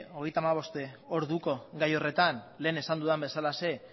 hogeita hamabost orduko gai horretan lehen esan dudan bezalaxe